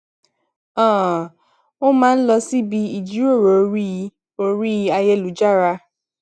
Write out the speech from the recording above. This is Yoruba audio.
um ó máa ń lọ síbi ìjíròrò orí orí ayélujára